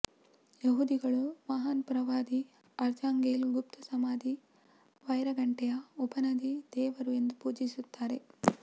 ಯಹೂದಿಗಳು ಮಹಾನ್ ಪ್ರವಾದಿ ಆರ್ಚಾಂಗೆಲ್ ಗುಪ್ತ ಸಮಾಧಿ ವೈರ ಗಂಟೆಯ ಉಪನದಿ ದೇವರು ಎಂದು ಪೂಜಿಸುತ್ತಾರೆ